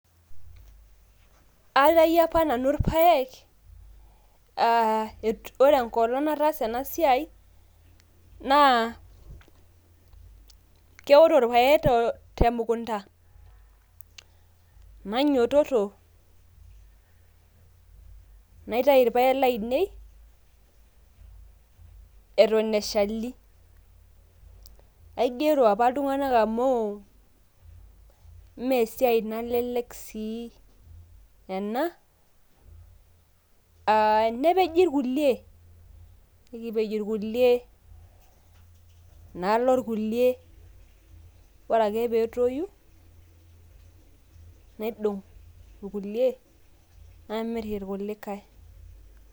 aitayio apa nanu irpaek, ore enkolong nataasa ena siai naa keoto irpaek temukunta. nainyiiototo naiatayu irpaek laainei eton eshali. aigero apa iltunganak amu imme esiai nalelek ena, nepeji irkulie, nikipej irkulie, nalo irkulie, ore ake pee etoyu nikimir irkulie, nalo kulikae.